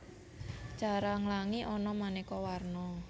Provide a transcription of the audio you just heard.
Cara nglangi ana manéka warna